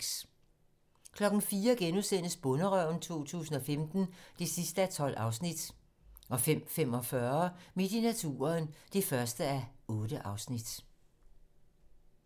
04:00: Bonderøven 2015 (12:12)* 05:45: Midt i naturen (1:8)